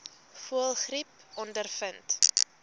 voëlgriep ondervind